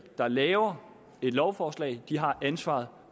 der laver et lovforslag har ansvaret